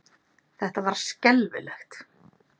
Þetta var skelfilegt.